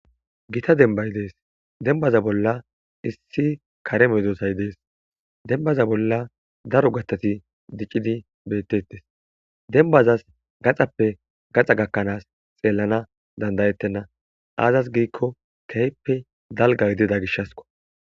Gita dembay dees dembaza bolla issi kare medosay dees denbaza bolla daro gattati diccidi betettes denbazas gaxappe gaxa gakkanaas xeellana dandayettenna aazas giikko tehppe dalga gidida gishasko.